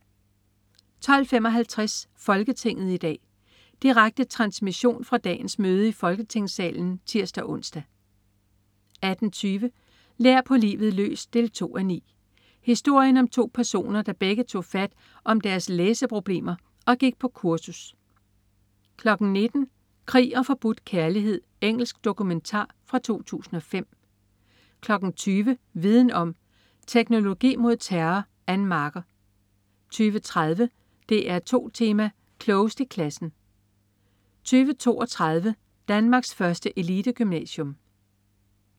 12.55 Folketinget i dag. Direkte transmission fra dagens møde i Folketingssalen (tirs-ons) 18.20 Lær på livet løs 2:9. Historien om to personer, der begge tog fat om deres læseproblemer og gik på kursus 19.00 Krig og forbudt kærlighed. Engelsk dokumentar fra 2005 20.00 Viden om: Teknologi mod terror. Ann Marker 20.30 DR2 Tema: Klogest i klassen 20.32 Danmarks første elitegymnasium